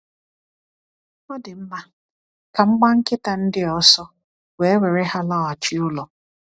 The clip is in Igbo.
Ọ dị mma, ka m gbaa nkịta ndị a ọsọ, wee were ha laghachi ụlọ.